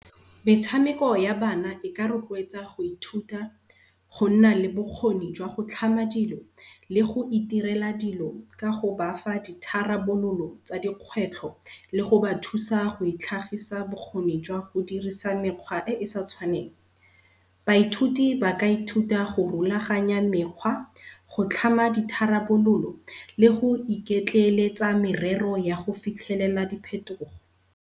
Metshameko ya bana e ka rotloetsa go ithuta go nna le bokgoni jwa go tlhama dilo, le go iterela dilo ka go bafa ditharabololo tsa dikgwetlho le go bathusa go itlhagisa bokgoni jwa go dirisa mekgwa e e sa tshwaneng. Baithuti ba ka ithuta go rolaganya mekgwa go tlhama ditharabololo le go iketleletsa merero ya go fitlhelela diphetogo.